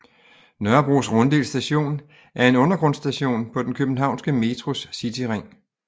Nørrebros Runddel Station er en undergrundsstation på den københavnske Metros cityring